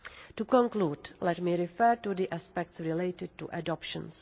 To conclude, let me refer to the aspects related to adoptions.